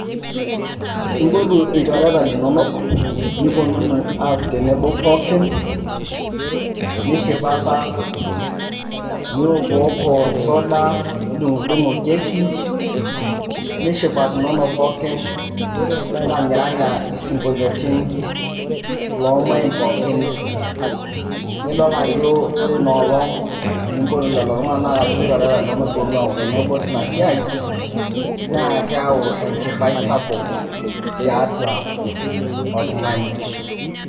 impotu ilchoreta linonok niponunu aaku tenebo pookin nishipapa niokiwoko suda nidung'udung'u keki nishipakinono pookin niranyiranya isinkoliotin loomuain pookin nidol ajo ore inoolong enimpotu lelo tung'anak ashu ilchoreata linonok piiponunu aaku tenebo tina siai naa keyau enchipai sapuk tiatua oltung'ani.